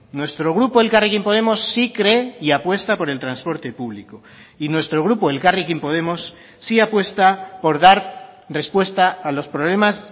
nuestro grupo elkarrekin podemos sí cree y apuesta por el transporte público y nuestro grupo elkarrekin podemos sí apuesta por dar respuesta a los problemas